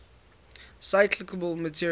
recyclable materials